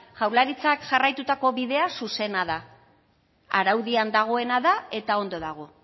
jaurlaritzak jarraitutako bidea zuzena da araudian dagoena da eta ondo dago